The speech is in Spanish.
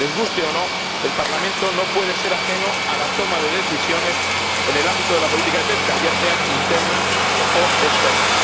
les guste o no, el Parlamento no puede ser ajeno a la toma de decisiones en el ámbito de la política de pesca, ya sea interna o externa.